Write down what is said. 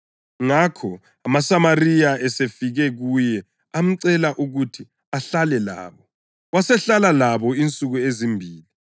Ngakho amaSamariya esefike kuye amcela ukuthi ahlale labo, wasehlala insuku ezimbili.